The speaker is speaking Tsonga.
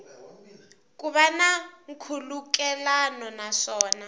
ku va na nkhulukelano naswona